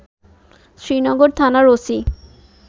শ্রীনগর থানার ওসি